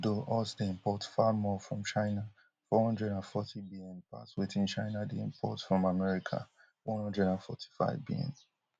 although us dey import far more from china four hundred and forty bn pass wetin china dey import from america one hundred and forty-five bns